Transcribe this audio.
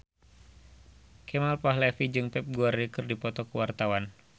Kemal Palevi jeung Pep Guardiola keur dipoto ku wartawan